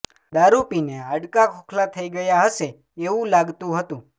દારુ પી ને હાડકા ખોખલા થઈ ગયા હશે એવુ લાગતુ હતુ